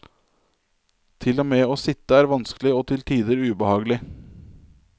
Til og med å sitte er vanskelig og til tider ubehagelig.